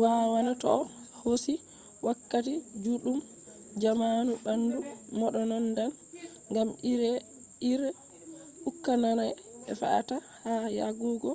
waawana toh hosi wakkati juddum jamanu bandu mbononndan gam ire-ire ukkaana'e fe'ata ha yarugo